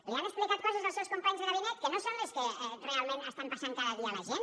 li han explicat coses els seus companys de gabinet que no són les que realment estan passant cada dia a la gent